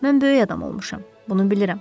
Mən böyük adam olmuşam, bunu bilirəm.